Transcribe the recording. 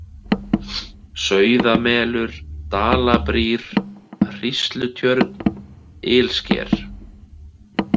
Sauðamelur, Dalabrýr, Hríslutjörn, Ilsker